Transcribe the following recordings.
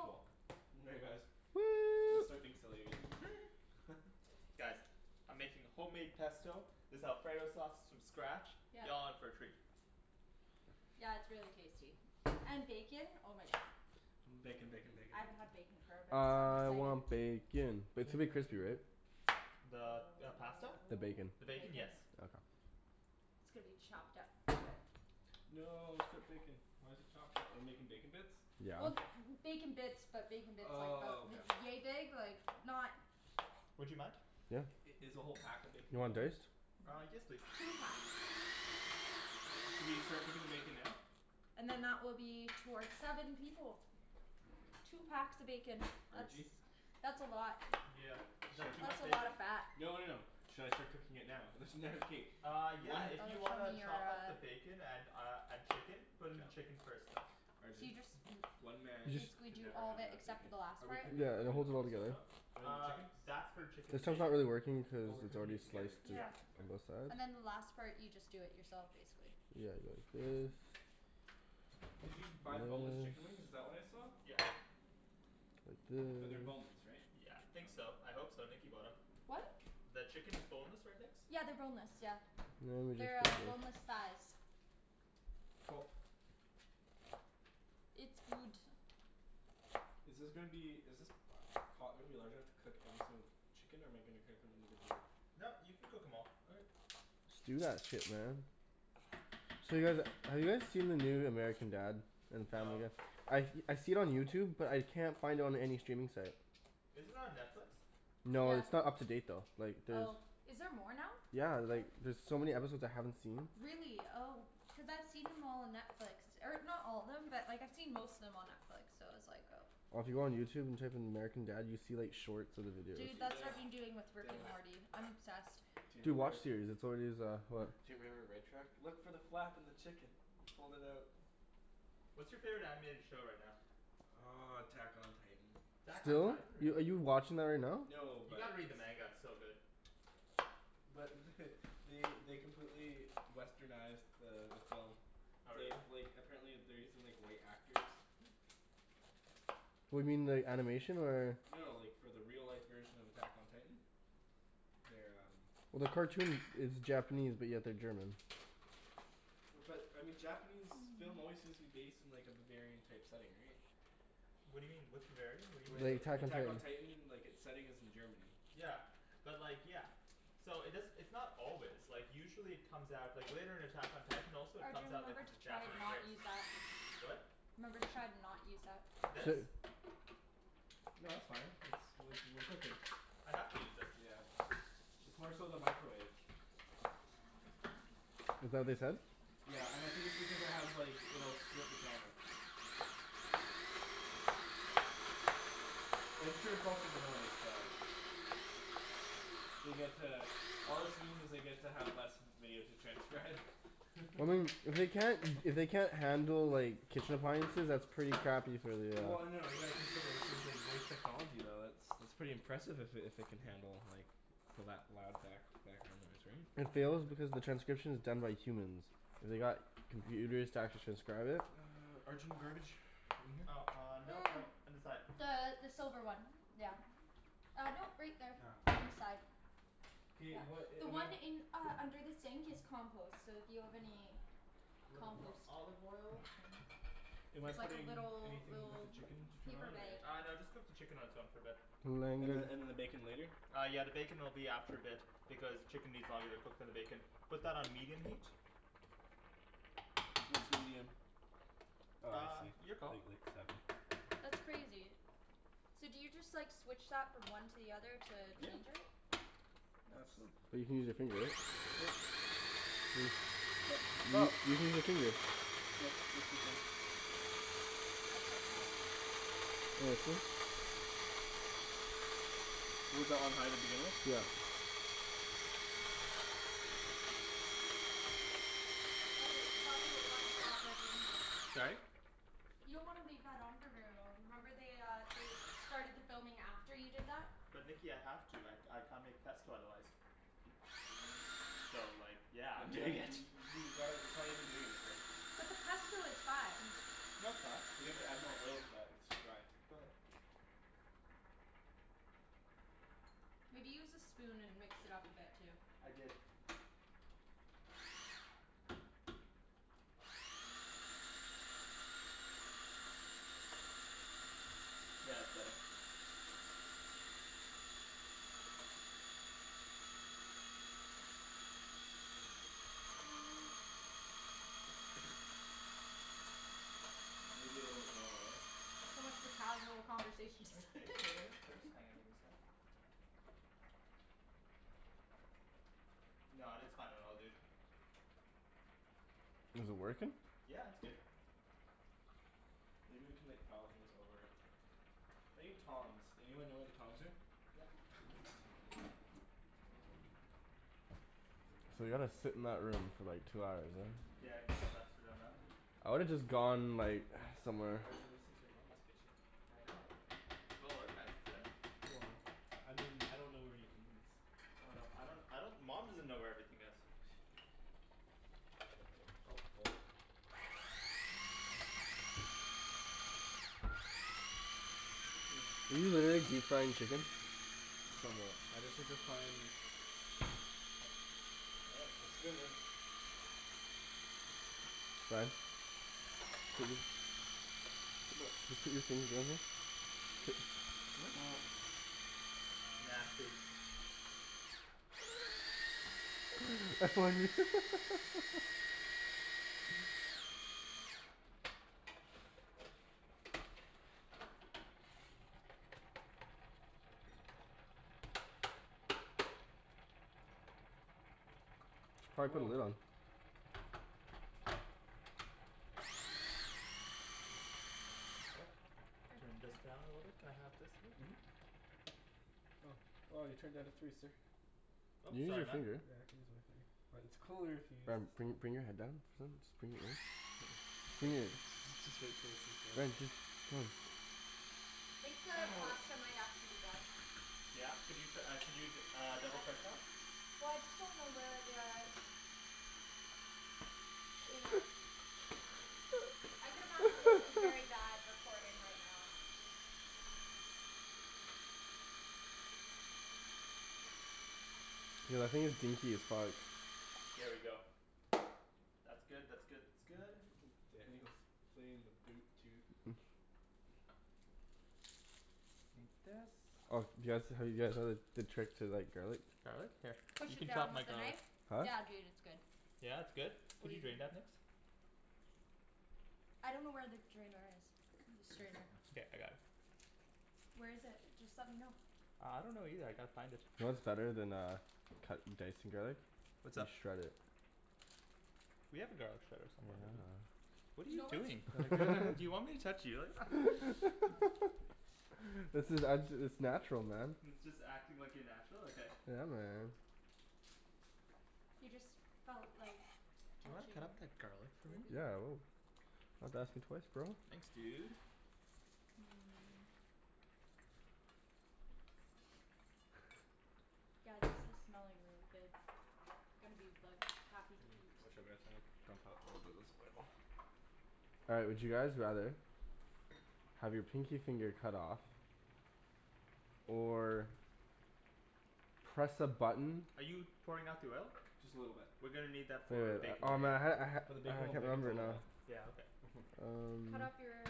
Cool. guys. Gonna Woo! start being silly again. Guys, I'm making homemade pesto, this alfredo sauce from scratch, Yep. y'all in for a treat. Yeah it's really tasty. And bacon? Oh my God. Bacon, bacon, bacon, I haven't bacon. had bacon for a bit so I'm really I excited. want bacon! But it's gonna be crispy, right? The Oh, pasta? The bacon. The the bacon? bacon. Yes. Okay. It's gonna be chopped up into it. No, strip bacon. Why's it chopped up? Are we making bacon bits? Yeah. Well bacon bits, but bacon bits like, Oh about, okay. yea big? Like not Would you mind? Yeah. I- is the whole pack of bacon You want going in there? diced? Uh, yes please. Two packs. Should we start cooking the bacon now? And then that will be for seven people. Two packs of bacon. That's, Arjie? that's a lot. Yeah. Is that too That's much a lot bacon? of fat. No no no. Should I start cooking it now? There's Uh yeah, Oh if you that's wanna from your, chop up uh. the bacon and uh and chicken? Put in the chicken first though. So Arjan, you just, one man You just basically can do never all have the, enough except for bacon. the last Are we part? cooking the Yeah and it oven holds it all on the stove together. top? Or the Uh, chicken? that's for chicken This and one's not bacon. really working Oh, cuz we're it's cooking already it together. sliced d- Yeah. Yeah. on K. both sides. And then the last part you just do it yourself basically. Yeah like this. Did you buy boneless chicken wings? Is This that what I saw? Yeah. Like this But they're boneless, right? Yeah. Think so. I hope so, Nikki bought em. What? The chicken is boneless, right Nikks? Yeah they're boneless, yeah. Now we just They're go like. boneless thighs. Cool. It's good. Is this gonna be, is this pot gonna be large enough to cook every single chicken or am I gonna cook them individually? No, you can cook em all. Okay. Just do that shit man. So you guys, have you guys seen the new American Dad and No. Family Guy? I I see it on YouTube but I can't find it on any streaming site. Is it on Netflix? No, Yeah. it's not up to date though. Like there's... Oh. Is there more now? Yeah like there's so many episodes I haven't seen. Really? Oh. Cuz I've seen them all on Netflix. Or not all of them, but like I've seen most of them on Netflix, so I was like oh. Well if you go on YouTube and type in American Dad you see like shorts of the videos. Dude, Dude, that's I what know. I've been doing with Rick Damn. and Morty. I'm obsessed. Do you Dude, remember WatchSeries. That's already is, go ahead Do you remember Red Truck? Look for the flap in the chicken! Fold it out. What's your favorite animated show right now? Uh, Attack on Titan. Attack on Are Titan? are Really? you watching that right now? No, You but gotta read the manga. It's so good. but they they completely westernized the the film. Oh really? They like, apparently they're using like white actors. What do you mean, the animation or? No, like, for the real life version of Attack on Titan. They're um Well the cartoon it's Japanese but yeah they're German. But I mean Japanese film always seems to be based in like a Bavarian type setting, right? What do you mean? What's Bavarian? What do Like The like Attack on Attack on you Titan. Titan, like its setting is in Germany. Yeah. But like, yeah. So it does - it's not always, like usually it comes out, like later in Attack on Titan also it comes Arjan, out like remember as to a try to Japanese not race. use that. What? Remember to try to not use that. This? No that's fine, it's like, we're cooking. I have to use this. Yeah. It's more so the microwave. Is that what they said? Yeah. And I think it's because it has like, you know, it'll strip the camera. I'm sure it's also the noise, but They get to, all this means is they get to have less video to transcribe. Well I mean, if they can't if they can't handle like kitchen appliances, that's pretty crappy for the uh Well no, you gotta consider too it's like voice technology, though, it's, that's pretty impressive if it if it can handle like the lou- loud back background noise, right? It fails because the transcription is done by humans. They got computers to actually transcribe it? Arjan, garbage? Oh uh, no no, Mm. on the side. The the silver one. Yeah. Uh no right there. Ah. On the side. K, Yeah. what a- The am I one in, uh under the sink is compost. So if you have any Little bit more compost, olive oil. just saying. Am I It's like a putting little, anything with the little chicken to turn paper on, bag. or? Uh no just cook the chicken on its own for a bit. And then and then the bacon later? Uh yeah the bacon will be after a bit because the chicken needs longer to cook than the bacon. Put that on medium heat? What's medium? Oh I Uh, see. your call. Wait wait, seven. That's crazy. So do you just like switch that from one to the other to Yeah. change it? Nuts. But you can use your finger right? Yep. Hmm. You Sup? you can use that too though. That's so cool. Was that on high to begin with? Yeah. Okay you probably wanna stop Arjan. Sorry? You don't wanna leave that on for very long. Remember they uh they started the filming after you did that? But Nikki I have to, I I can't make pesto otherwise. So like yeah, But I'm you doing haven't y- it. y- you gotta, it probably isn't doing anything. But the pesto is fine. No it's not. You have to add more oil to that. It's too dry. Go ahead. Maybe use the spoon and mix it up a bit too. I did. Yeah it's better. Mm. Maybe a little bit lower, eh? So much for casual conversation. Let me taste it a little bit first? Hold on, give me a sec. No, it's fine. It all good. Is it working? Yeah it's good. Maybe we can like pile things over it. I need tongs. Anyone know where the tongs are? Yeah. So they gotta sit in that room for like two hours right? Yeah it kind of sucks for them, huh? I would have just gone like, somewhere. Arjan, this is your Mama's kitchen. I know. Well organized, isn't it? Well, I mean, I don't know where anything is. Oh no. I don't, I don't. Mom doesn't know where everything is. Helpful. Are you literally deep frying chicken? Somewhat. I just have to try and... Looking good. Sorry? What? Nasty. Try putting the lid on. Oh. Here, Turn this here. down a little bit, can I have this lid? Well you turned it down to three sir. You Oop, can use sorry your man. finger. Yeah I can use my finger. But it's cooler if you use Ryan this bring thing... bring your head down. Just bring it in. Here. Ryan just, come on. I think the pasta might actually be done. Yeah? Could you uh could you uh double I, check that? well I just don't know where the... I could imagine this is very bad recording right now. Dude I think it's goopy as fuck. There we go. That's good, that's good, that's good. Daniel's playing the boot toot. Take this. Oh do you guys, have you guys heard the trick to like garlic? Garlic? Here. Push You it can chop down my with a garlic. knife? Huh? Yeah dude it's good. Yeah it's good? Can you drain that Nikks? I don't know where the drainer is. The strainer. Okay. I got it. Where is it? Just let me know. Uh, I don't know either. I gotta find it. You know what's better than uh cutting dicing garlic? What's up? Just shred it. We have a garlic shredder somewhere, don't we? What are You you know what doing? Do you want me to touch you like that? This is, I'm it's natural man. It's just acting like you're natural? Okay. Yeah man. You just felt like Do you wanna touching cut up that garlic for your me? boob. Yeah I will. Don't have to ask me twice bro. Thanks dude. Hmm. Guys this is smelling really good. Gonna be like, happy to Hmm. eat. Whichever is fine. It's uncomfortable as it looks. All right, would you guys rather Have your pinky finger cut off? Or. Press a button Are you pouring out the oil? Just a little bit. We're gonna need that Wait for wait. bacon Oh later. man I had For the it. bacon I we'll can't make it remember it now. Yeah, okay. Um. Cut off your?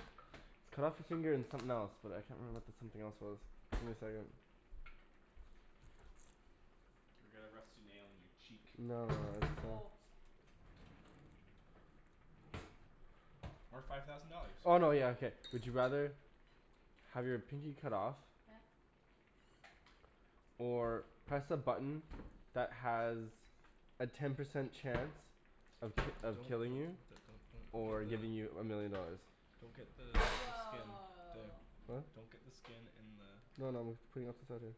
Cut off your finger and something else. But I can't remember what the something else was. Give me a second. Or get a rusty nail in your cheek. No no no, it's uh. Oh. Or five thousand dollars. Oh no yeah okay. Would you rather Have your pinky cut off? Yeah. Or press a button that has a ten percent chance of of Don't. killing you? Or giving you a million dollars. Don't get the skin... Woah. Huh? Don't get the skin in the... No no. I'm putting it off to the side here.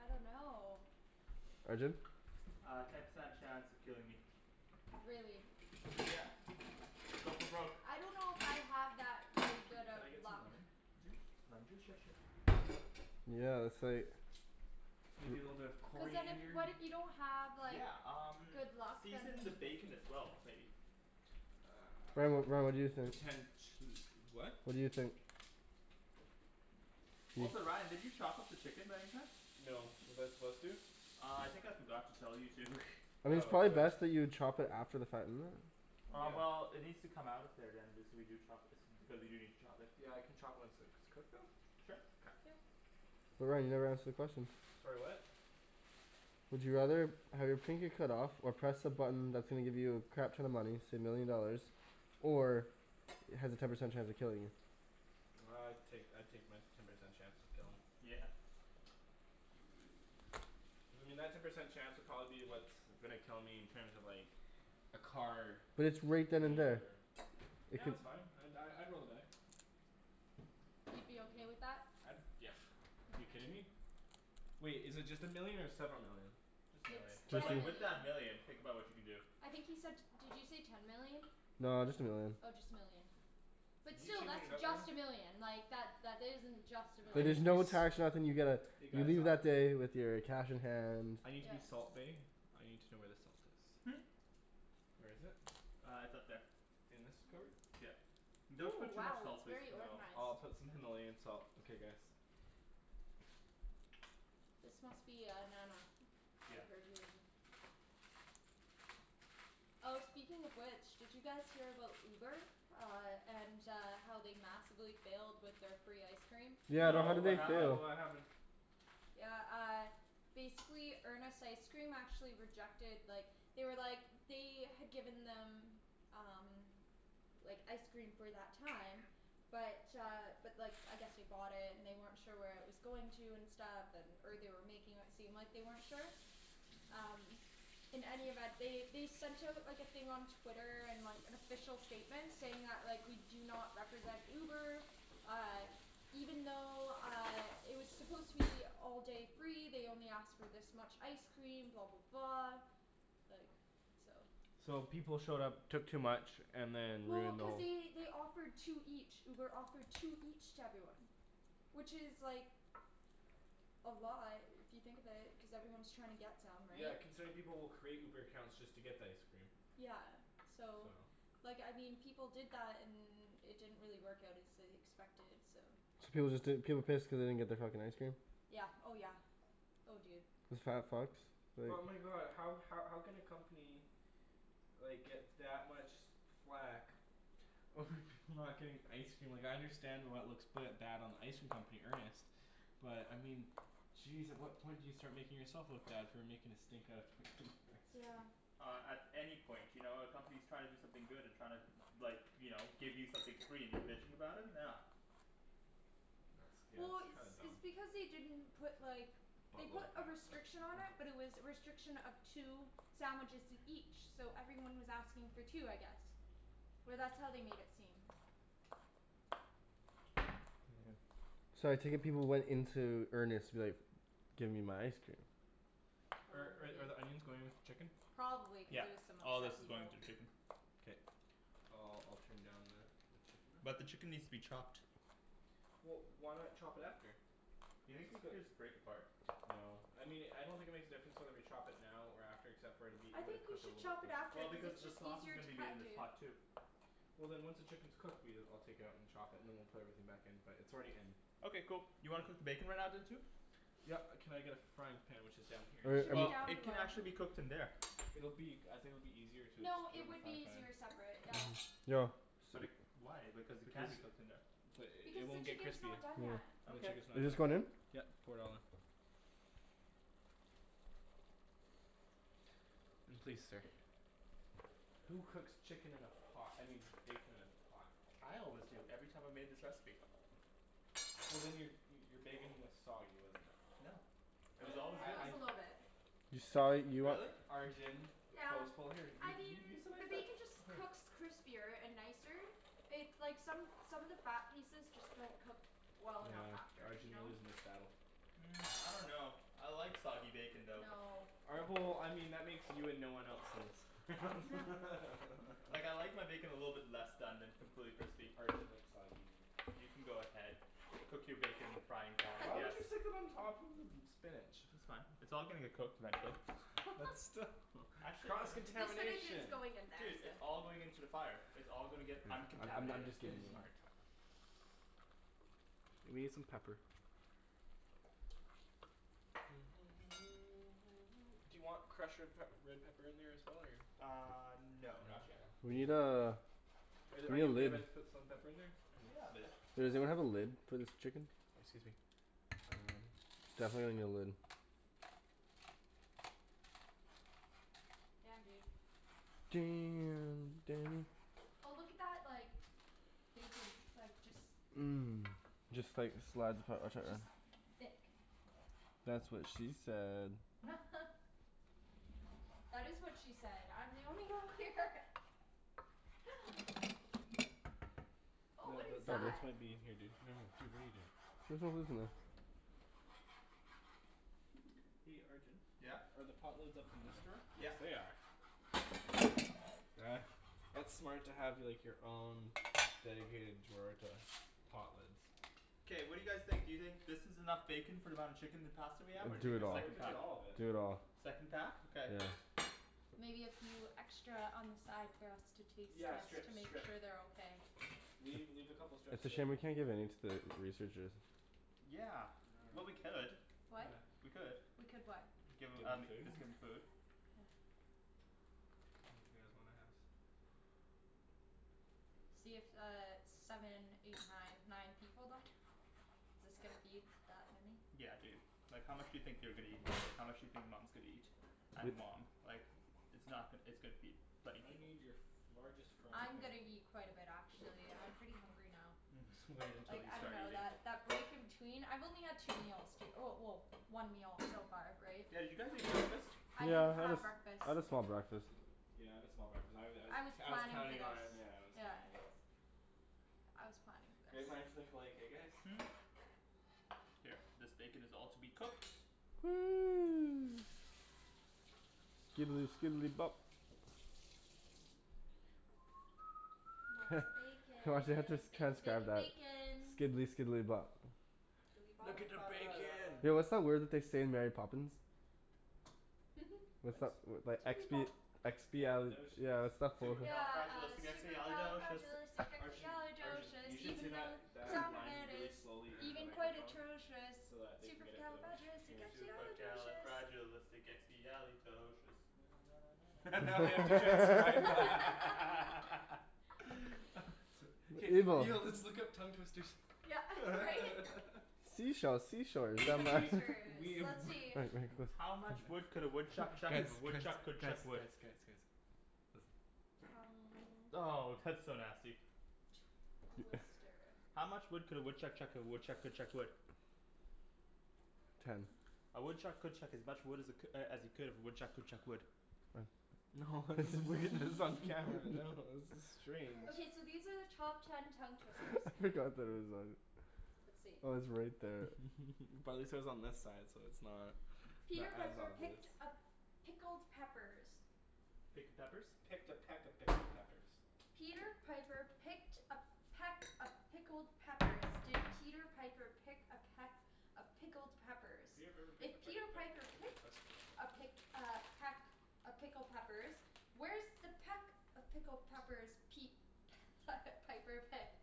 I don't know. Arjan? Uh, ten percent chance of killing me. Really? Yeah. Go for broke. I don't know if I have that really Can good can of I get some luck. lemon juice? Lemon juice? Sure sure. Yeah that's like. Maybe a little bit of Cuz then if coriander? what if you don't have like Yeah um good luck then season the bacon as well maybe. Ryan what, what do you Um think? potential what? What do you think? Also Ryan did you chop up the chicken by any chance? No, was I supposed to? Uh I think I forgot to tell you to. I mean it's Oh probably okay. best that you chop it after the fact, isn't it? Uh Yeah. well it needs Mm. to come out of there then if we do chop it. Because we do need to chop it. Yeah I can chopped once it's cooked though? Sure. Okay. Yep. Ryan you never answered the question. Sorry what? Would you rather have your pinky cut off, or press a button that's gonna give you a crap ton of money, say a million dollars, or has a ten percent chance of killing you? Uh I'd take I'd take my ten percent chance of killing. Yeah. I mean that ten percent chance would probably be what's gonna kill me in terms of like, a car But it's right then and running me there. over. It Yeah could that's fine, I'd die, I'd roll the die. You'd be okay with that? I'd, yeah. You kidding me? Wait, is it just a million or several million? Just a It's million. But Just ten a like with million. that million, think about what you can do. I think he said, did you say ten million? No, just a million. Oh just a million. But You still, can that's just a million. Like that isn't just a I But need there's million. no to tax or nothing, you get a, You you guys? leave that day with your cash in hand I need to be Yeah. salt bae; I need to know where the salt is. Hmm? Where is it? Uh it's up there. In this cupboard? Yeah. Don't Ooh put too much wow salt it's please. very No. organized. I'll put some Himalayan salt, okay guys. This must be uh Nana. And Yeah. her doing. Oh speaking of which, did you guys hear about Uber? Uh and uh how they massively failed with their free ice cream? Yeah but how No, No, did what they happened? fail? what happened? Yeah uh, basically Earnest Ice Cream actually rejected, like, they were like, they had given them, um. Like ice cream for that time, but uh but like I guess they bought it and they weren't sure where it was going to and stuff, and or they were making it seem like they weren't sure. Um. In any event, they they sent out like a thing on Twitter, and like an official statement saying that like, we do not represent Uber, uh, even though uh it was supposed to be all day free, they only asked for this much ice cream, blah blah blah Like, so. So people showed up, took too much, and then Well, ruined the cuz whole... they they offered two each. Uber offered two each to everyone. Which is like. A lot if you think of it, cuz everyone's trying to get them, Yeah right? considering people will create Uber accounts just to get the ice cream. Yeah so, So. like I mean people did that and it didn't really work out as they expected, so. So was it that, people pissed cuz they didn't get their fucking ice cream? Yeah. Oh yeah. Oh dude. Isn't that fucked? Like But my god, how how can a company like get that much flak over people not getting ice cream? Like I understand why it looks quite bad on the ice cream company, Earnest, but I mean jeez at what point do you start making yourself look bad for making a stink out of fucking ice cream? Yeah. Uh at any point. You know, a company's trying to do something good and trying to like, you know, give you something free and you're bitching about it? No. Yeah, Well it's it's kind of dumb. it's because they didn't put like, they Buttload put of a pasta. restriction on it Mhm. but it was a restriction of two sandwiches each, so everyone was asking for two I guess. Or that's how they made it seem. So I take it people went into Earnest like, give me my ice cream. Oh I'm Are with are the you. onions going with the chicken? Probably cuz Yeah. there was some All of this upset is going people. to the chicken. Okay. I'll I'll turn down the the chicken there. But the chicken needs to be chopped. Well why not chop it after? Do you think we could just break apart? No. I mean I don't think it makes a difference whether we chop it now or after except for it'll be, it I would have think we cooked a should little bit chop it after Well quicker. cuz because it's the just sauce is easier to gonna be made in cut, this dude. pot too. Well then once the chicken's cooked, we'll, I'll take it out and chop it and then we'll put everything back in. But it's already in. Okay cool. You wanna cook the bacon right now then too? Yep, can I get a frying pan which is down here? Should be Well down it can below. actually be cooked in there. It'll be, I think it'll be easier to just No, cook it it in the would frying be pan? easier separate. Yeah. Yo. But it, why, because it can be cooked in there. But Because it the won't get chicken's crispy. not done yet. Yep You Okay. want just this one in? pour it all in. And please stir. Who cooks chicken in a pot? I mean bacon in a pot? I always do. Every time I made this recipe. Well then your your bacon was soggy, wasn't it. No. It was I, always Uh it good. I was I. a little bit. You, A little sorry, bit. you what? Really? Arjan. Yeah. here. You I mean you you can the make that, bacon just here. cooks crispier and nicer, it's like, some some of the fat pieces just don't cook well enough Yeah. after. You Arjan, you're know? losing this battle. Hmm. I dunno. I like soggy bacon though. No. All right, well, I mean that makes you and no one else in this. Huh. Like I like my bacon a little bit less done than completely crispy. Arjan likes soggy meat. You can go ahead, cook your bacon in the frying pan I Why would guess. you stick it on top of the spinach? That's fine. It's all gonna get cooked eventually. But still. Actually no. Cross The spinach is contamination? going in there, Dude, so. it's all going into the fire. It's all gonna get I'm I'm uncontaminated. just giving you a hard time. Let me get some pepper. Do you want crushed red pep red pepper in there as well or? Uh no No? No. not yet. We need uh Are We need a you okay lid. if I put some pepper in there? Yeah a bit. Is there we have a lid for this chicken? Excuse me. Um. Definitely need a lid. Damn dude. Damn Daniel. Oh look at that like, bacon, like, just Mm. Just like a slide of Just thick. That's what she said. That is what she said! I'm the only girl here! Oh what is this that? might be in here dude. No no dude, what are you doing. There's no lids in there. Hey Arjan? Yeah? Are the pot lids up in this drawer? Yeah. They are. Uh, that's smart to like have your own dedicated drawer to pot lids. K, what do you guys think, do you think this is enough bacon for the amount of chicken and pasta we have or Do take I it the all. thought we're second cooking pack? all of it. Do it all. Second pack? Okay. Yeah. Maybe a few extra on the side for us to taste Yeah just to strips, make strips. sure they're okay. Leave, leave a couple strips It's of a shame bacon. we can't give any to the researchers. Yeah. Well we could. What? We could. We could what? Give Give them them um, the food? team the food. Yeah. in the house. See it's uh seven, eight, nine nine people then? This gonna feed that many? Yeah dude. Like how much do you think they're gonna eat, how much do you think Mom's gonna eat? And mom. Like, it's not, it's gonna feed thirty I people. need your largest frying I'm pan. gonna eat quite a bit actually, I'm pretty hungry now. Mhm. Wait until Like you I start dunno eating. that break in between, I've only had two meals, well well one meal so far, right? Yeah did you guys eat breakfast? I didn't Yeah I had have breakfast. I had a small breakfast. Yeah I had a small breakfast. I was I was I was I was planning for counting this. on, yeah I was Yeah. counting on... I was planning for Great this. minds think alike, eh guys? Hmm? Here. This bacon is all to be cooked. Skidely skidely bop. Heh. Lots of I wonder if they have to bacon. Bacon transcribe bacon that. bacon. Skidely skidely bop. Look at the bacon! Yo what's that word that they say in Mary Poppins? What's What? that, that expi- expiali- Expialidocious. yeah what's that word? Yeah uh, Supercalifragilisticexpialidocious! Arjun. Arjun. You supercalifragilisticexpialidocious, should say even though that the that sound of line it really is slowly into a even quite microphone. atrocious, So that they can get it supercalifragilisticexpialidocious. Supercalifragilisticexpialidocious. Now they have to transcribe Evil. Yo, let's look up tongue twisters. Yeah right? Sea shells sea shores We will down Tongue by be, the twisters. we... Let's see. Wait, wait, listen. How much wood could a woodchuck Guys chuck if a guys woodchuck guys could guys chuck wood? guys guys. Listen. Tongue Oh! That's so nasty. Twister. How much wood could a woodchuck chuck if a woodchuck could chuck wood? Ten. A woodchuck could chuck as much wood as it as he could if a woodchuck could chuck wood. Oh. No this is weird, this is on camera, no, this is strange. Okay so these are the top ten tongue twisters. I I forgot forgot that that it it was was on. on. Let's see. Oh it's right there. Probably says on this side so it's not Peter as Piper picked obvious. a pickled peppers. Picked a peppers? Picked a peck of pickled peppers. Peter Piper picked a peck of pickled peppers. Did Peter Piper pick a peck of pickled peppers, Peter Piper if picked a peck Peter of Piper pick pickled peck picked a pick peppers. uh peck of pickled peppers, where's the peck of pickled peppers Pete Piper picked?